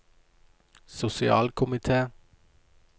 sosialkomite